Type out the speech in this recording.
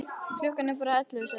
Klukkan er bara ellefu, sagði hún.